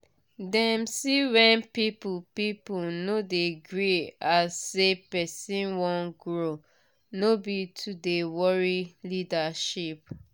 dem see wen people people no de gree as say person wan grow no be to de worry leadership